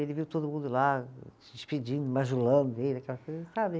Ele viu todo mundo lá se despedindo, bajulando ele, aquela coisa, sabe